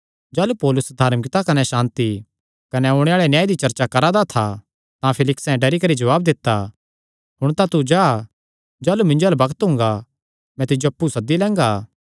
जाह़लू पौलुस धार्मिकता कने सांति कने ओणे आल़े न्याय दी चर्चा करा दा था तां फेलिक्से डरी करी जवाब दित्ता हुण तां तू जा जाह़लू मिन्जो अल्ल बग्त हुंगा मैं तिज्जो अप्पु सद्दी लैंगा